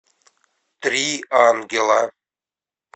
три ангела